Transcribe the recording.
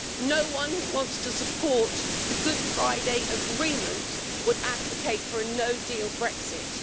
No one who wants to support the Good Friday Agreement would advocate a no deal Brexit.